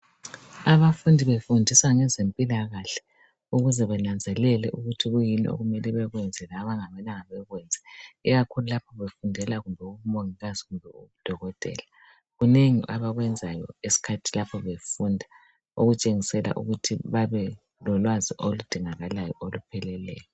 Abafundi befundisa ngezempilakahle ukuze benanzelele ukuthi kuyini okumele bekwenze labangamelanga bekwenze, ikakhulu lapho befundela kumbe ubumongikazi kumbe ubudokotela kunengi abakwenzayo ngesikhathi lapho befunda okutshengisa ukuthi babe lolwazi oludingakalayo olupheleyo.